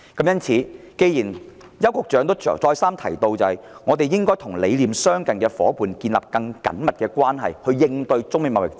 邱局長再三強調，香港應與理念相近的夥伴建立更緊密的關係，以應對中美貿易戰。